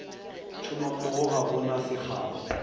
tšhomommogo ga go na sekgao